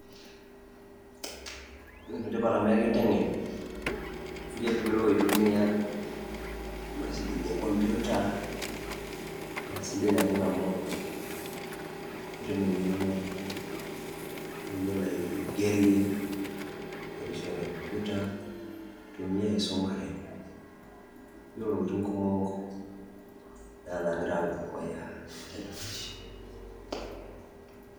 ene tipat amu ekintengen eninko piyiolou aitumia imashinini e computer naa isidan naleng amu itum engeno niyiolo aigerie ,aigerishore computer ,nintumia aisumuare ,niyiolouintokitin kumok nena nagira apuo dukuya.